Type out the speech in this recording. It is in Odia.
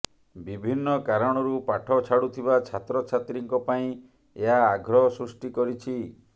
ବିଭିନ୍ନ କାରଣରୁ ପାଠ ଛାଡ଼ୁଥିବା ଛାତ୍ରଛାତ୍ରୀଙ୍କ ପାଇଁ ଏହା ଆଗ୍ରହ ସୃଷ୍ଟି କରିଛି